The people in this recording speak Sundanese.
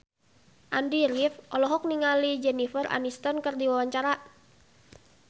Andy rif olohok ningali Jennifer Aniston keur diwawancara